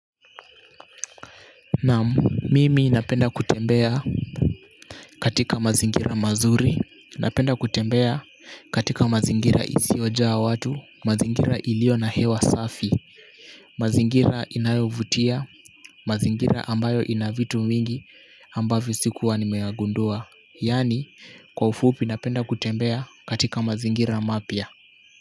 Naam mimi napenda kutembea katika mazingira mazuri napenda kutembea katika mazingira isiyo jaa watu mazingira iliyo na hewa safi mazingira inayovutia, mazingira ambayo ina vitu mingi ambavyo sikuwa nimeyagundua, yaani kwa ufupi napenda kutembea katika mazingira mapya.